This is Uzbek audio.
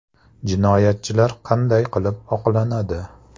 Jinoyatchilar qanday qilib oqlanadi?